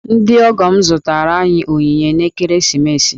Ndị ọgọ m zụtaara anyị onyinye n'ekeresimesi.